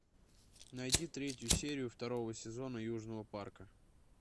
найди третью серию второго сезона южного парка